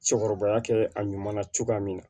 Cɛkɔrɔbaya kɛ a ɲuman na cogoya min na